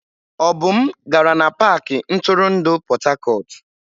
Obum gara n'pakị ntụrụndụ Port Harcourt.